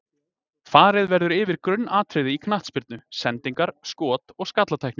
Farið verður yfir grunnatriði í knattspyrnu: Sendingar, skot og skallatækni.